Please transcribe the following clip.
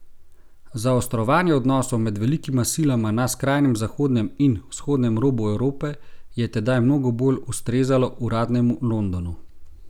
Zaostrovanje odnosov med velikima silama na skrajnem zahodnem in vzhodnem robu Evrope je tedaj mnogo bolj ustrezalo uradnemu Londonu.